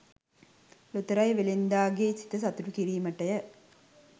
ලොතරැයි වෙළෙන්දාගේ සිත සතුටු කිරීමටය